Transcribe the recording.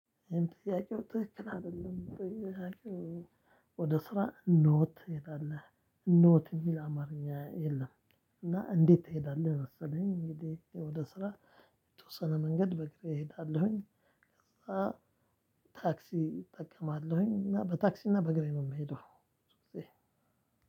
ጥያቄው ትክክል አይደለም። ጥያቄው ወደ ስራ ኖት ሄዳለህ ኖት የሚል አማርኛ የለም እና እንዴት ትሄዳለህ መሰለኝ እንግዲህ ወደ ስራ የተወሰነ መንገድ በእግሬ እሄዳለሁኝ ከዛ ታክሲ እጠቀማለሁኝ እና በታክሲ እና በእግሬ ነው የምሄደው ብዙ ግዜ።